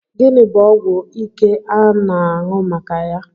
Gịnị bụ ọgwụ ike a m na-anụ maka ya?